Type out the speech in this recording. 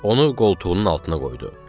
Onu qoltuğunun altına qoydu.